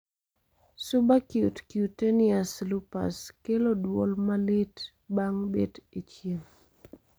Subacute cutaneous lupus kelo duol ma lit bang bet e chieng'